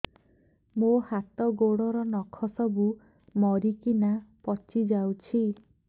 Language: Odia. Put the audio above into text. ମୋ ହାତ ଗୋଡର ନଖ ସବୁ ମରିକିନା ପଚି ଯାଉଛି